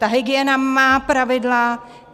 Ta hygiena má pravidla.